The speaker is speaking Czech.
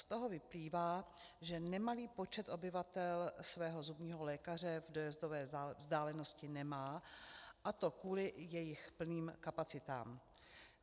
Z toho vyplývá, že nemalý počet obyvatel svého zubního lékaře v dojezdové vzdálenosti nemá, a to kvůli jejich plným kapacitám.